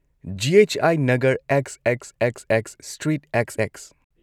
G. H. I. Nagar, XXXX street, XX꯫